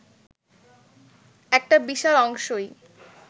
একটা বিশাল অংশই